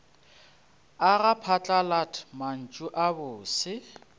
aga phatlalat mantšu a bose